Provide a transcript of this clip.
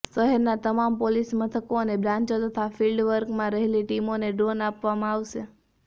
શહેરના તમામ પોલીસમથકો અને બ્રાન્ચો તથા ફિલ્ડ વર્કમાં રહેલી ટીમોને ડ્રોન આપવામાં આવશે